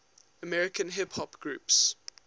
american hip hop groups